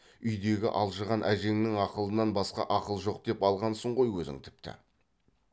үйдегі алжыған әжеңнің ақылынан басқа ақыл жоқ деп алғансың ғой өзің тіпті